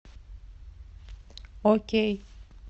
окей